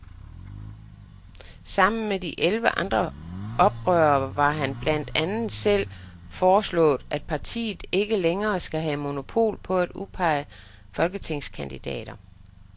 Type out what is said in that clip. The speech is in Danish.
Sammen med de elleve andre oprørere har han blandt andet selv foreslået, at partiet ikke længere skal have monopol på at udpege folketingskandidater.